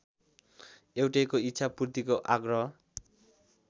एउटैको इच्छापूर्तिको आग्रह